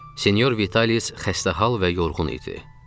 Senyor Vitalis xəstə hal və yorğun idi.